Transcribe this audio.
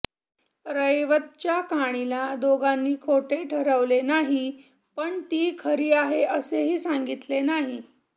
रैवतच्या कहाणीला दोघांनी खोटे ठरविले नाही पण ती खरी आहे असेही सांगितले नाही